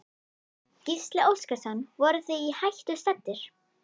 Gísli Óskarsson: Voruð þið í hættu staddir?